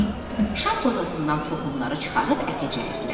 Şam qozasından toxumları çıxarıb əkəcəkdilər.